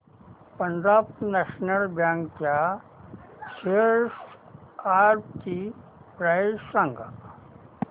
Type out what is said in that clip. Punjab National Bank च्या shares आजची price सांगा